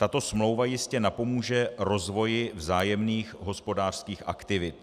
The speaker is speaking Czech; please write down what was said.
Tato smlouva jistě napomůže rozvoji vzájemných hospodářských aktivit.